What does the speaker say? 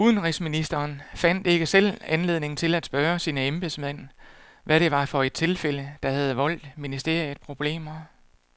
Udenrigsministeren fandt ikke selv anledning til at spørge sine embedsmænd, hvad det var for et tilfælde, der havde voldt ministeriet problemer.